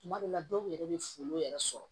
Tuma dɔw la dɔw yɛrɛ bɛ folon yɛrɛ sɔrɔ